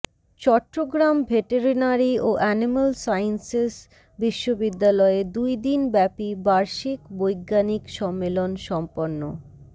Chittagong veterinary ও animal sciences বিশ্ববিদ্যালয়ে দুইদিন ব্যাপী বার্ষিক বৈজ্ঞানিক সম্মেলন সম্পন্ন